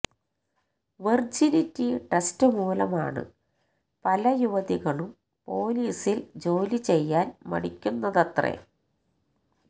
virginity test മൂലമാണ് പല യുവതികളും പോലീസില് ജോലിചെയ്യാന് മടിക്കുന്നതത്രേ